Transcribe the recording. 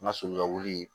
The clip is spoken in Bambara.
N ka sojɔ wuli